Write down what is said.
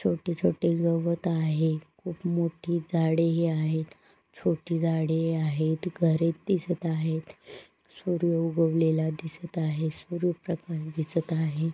छोटे- छोटे गवत आहे खूप मोठी झाडे ही आहेत छोटी झाडे ही आहेत घरे दिसत आहेत सूर्य उगवलेला दिसत आहे सूर्य प्रकाश दिसत आहे.